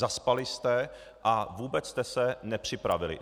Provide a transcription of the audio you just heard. Zaspali jste a vůbec jste se nepřipravili.